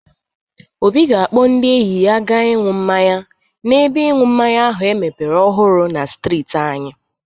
Obi ga-akpọ ndị enyi ya aga ịñu mmanya n'ebe ịṅụ mmanya ahụ emepere ọhụrụ na strịtị anyị.